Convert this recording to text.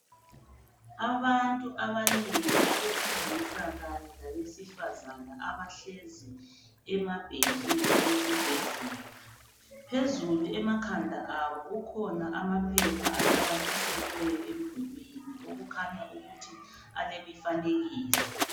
Abantu abanengi abesilisa kanye labesifazana abahlezi ema bhentshini esibhedlela. Phezulu emakhanda abo kukhona amaphepha anamathiselweyo emdulini okukhanya ukuthi alemifanekiso.